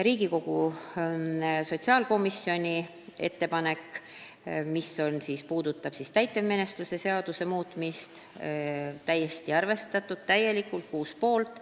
Riigikogu sotsiaalkomisjoni ettepanekut, mis puudutab täitemenetluse seadustiku muutmist, arvestati täielikult: 6 poolt.